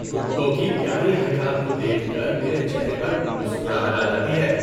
کتوں کی پیاری حرکات کو دیکھ کر میرے چہرے پر مسکراہٹ آ جاتی ہے۔